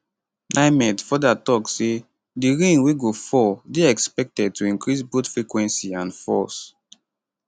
nimet futher tok say di rain wey go fall dey expected to increase both frequency and force